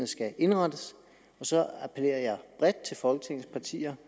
skal indrettes og så appellerer jeg bredt til folketingets partier